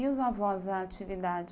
E os avós, a atividade?